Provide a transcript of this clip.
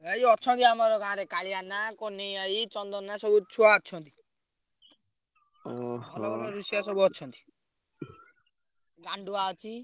ଏଇ ଅଛନ୍ତି ଆମର ଗାଁରେ କାଳିଆନା, କହ୍ନେଇ ଭାଇ, ଚନ୍ଦନ ସବୁ ଛୁଆ ଅଛନ୍ତି। ଭଲ ଭଲ ରୋଷେୟା ସବୁ ଅଛନ୍ତି। ଗାଣ୍ଡୁଆ ଅଛି।